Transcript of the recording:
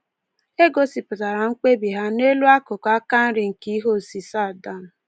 E gosipụtara mkpebi ha n’elu akụkụ aka nri nke ihe osise Adam.